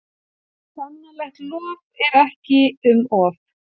Sannarlegt lof er ekki um of.